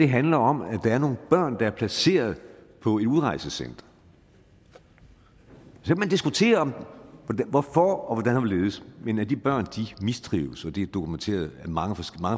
handler om at der er nogle børn der er placeret på et udrejsecenter så kan man diskutere hvorfor og hvordan og hvorledes men at de børn mistrives er noget der er dokumenteret mange